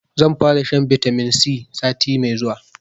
Zan fara shan bitamin C sati mai zuwa